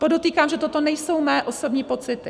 Podotýkám, že toto nejsou mé osobní pocity.